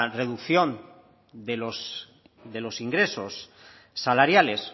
reducción de los de los ingresos salariales